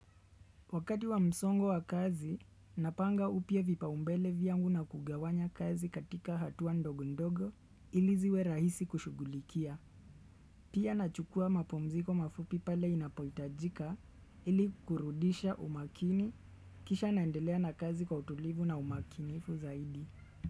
Wakati wa msongo wa kazi, napanga upya vipaumbele vyangu na kugawanya kazi katika hatua ndogo ndogo ili ziwe rahisi kushugulikia. Pia na chukua mapumziko mafupi pale inapohitajika ili kurudisha umakini kisha naendelea na kazi kwa utulivu na umakinifu zaidi.